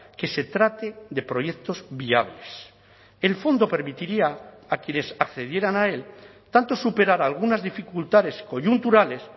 que se trate de proyectos viables el fondo permitiría a quienes accedieran a él tanto superar algunas dificultades coyunturales